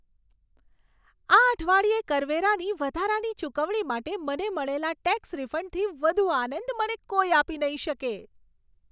આ અઠવાડિયે કરવેરાની વધારાની ચુકવણી માટે મને મળેલા ટેક્સ રિફંડથી વધુ આનંદ મને કોઈ આપી નહીં શકે.